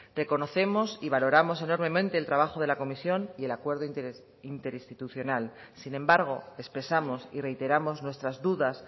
reconocemos y valoramos enormemente el trabajo de la comisión y el acuerdo interinstitucional sin embargo expresamos y reiteramos nuestras dudas